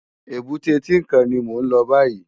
Ébùté Tinkán ni mó n lò bàyí